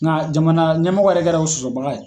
Nga jamana ɲɛmɔgɔ yɛrɛ kɛra o sɔsɔbaga ye.